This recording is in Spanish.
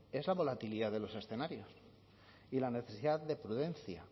es la volatilidad de los escenarios y la necesidad de prudencia